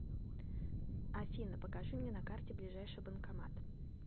афина покажи мне на карте ближайший банкомат